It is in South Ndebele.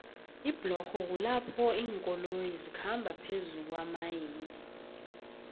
iblorho kulapho linkoloyo zikhamba phezukuomanei